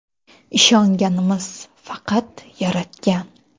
Ishonganimiz faqat Yaratgan.